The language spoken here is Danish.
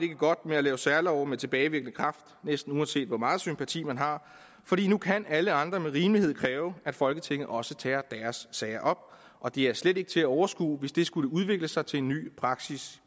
godt med at lave særlove med tilbagevirkende kraft næsten uanset hvor meget sympati man har fordi nu kan alle andre med rimelighed kræve at folketinget også tager deres sager og det er slet ikke til at overskue hvis det skulle udvikle sig til en ny praksis